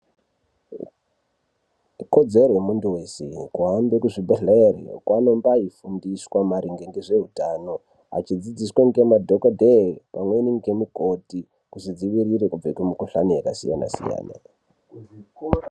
Ikodzero yemuntu weshe kuhambe kuzvibhedhleya kwaanonga eifundiswa maringe ngezveutano achidzidziswa ngemadhokodheya pamweni ndimukoti kuzvidzivirire kubve kumukuhlani yakasiyana siyana.